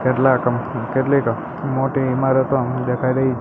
કેટલા કેટલીક મોટી ઇમારતો દેખાઈ રહી--